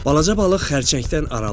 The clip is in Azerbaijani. Balaca balıq xərçəngdən aralandı.